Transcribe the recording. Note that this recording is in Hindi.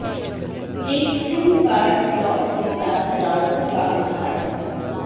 एक सिम कार्ड स्लॉट के साथ राउटर का उदाहरण